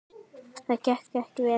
Það gekk ekki vel.